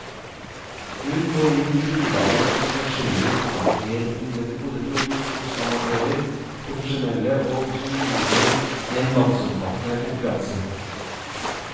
Hun går inn i grunnlaget for forskjellige oppfatninger om det gode produkt hos amatører, profesjonelle og to juryer i en landsomfattende konkurranse.